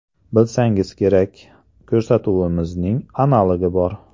Bilsangiz kerak, ko‘rsatuvimizning analogi bor.